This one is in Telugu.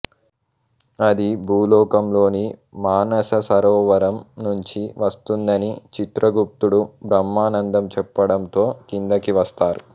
అది భూలోకంలోని మానస సరోవరం నుంచి వస్తుందని చిత్రగుప్తుడుబ్రహ్మానందం చెప్పడంతో కిందకి వస్తారు